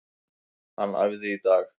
Hann æfði í dag.